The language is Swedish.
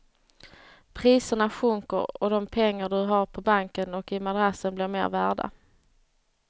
Priserna sjunker och de pengar du har på banken och i madrassen blir mer värda.